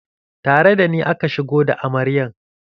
Tare da ni aka shigo da amaryan.